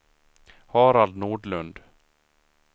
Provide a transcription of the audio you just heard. Harald Nordlund